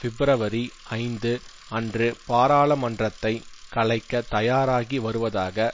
பிப்ரவரி ஐந்து அன்று பாராளுமன்றத்தை கலைக்கத் தயாராகி வருவதாக